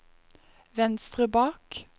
venstre bak